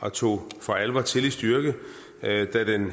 og tog for alvor til i styrke da den